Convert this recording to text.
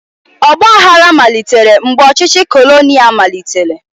Ọgbaaghara malitere mgbe ọchịchị kolonial malitere.